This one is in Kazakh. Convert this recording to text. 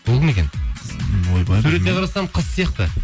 бұл кім екен ойбай суретіне қарасам қыз сияқты